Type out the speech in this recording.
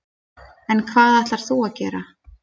En hvað ætlar þú að gera?